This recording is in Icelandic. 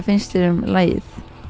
finnst þér um lagið